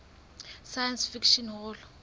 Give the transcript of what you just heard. science fiction hall